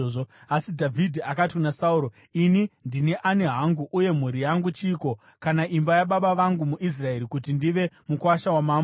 Asi Dhavhidhi akati kuna Sauro, “Ini ndini ani hangu, uye mhuri yangu chiiko, kana imba yababa vangu muIsraeri, kuti ndive mukuwasha wamambo?”